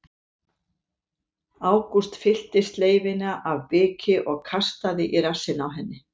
Ágúst fyllti sleifina af biki og kastaði í rassinn á henni.